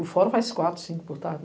O fórum faz quatro, cinco por tarde.